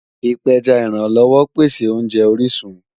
Ipẹjá ìrànlọ́wọ̀ pẹ̀sẹ̀ ọ̀nje orisun